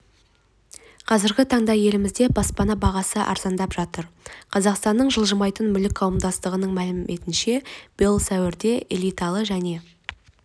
қазіргі таңда елімізде баспана бағасы арзандап жатыр қазақстанның жылжымайтын мүлік қауымдастығының мәліметінше биыл сәуірде элиталы және